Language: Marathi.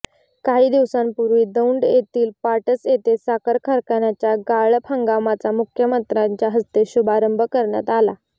काही दिवसांपूर्वी दौंड येथील पाटस येथे साखर कारखान्याच्या गाळप हंगामाचा मुख्यमंत्र्याच्या हस्ते शुभारंभ करण्यात आला